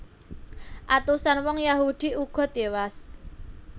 Atusan wong Yahudi uga tiwas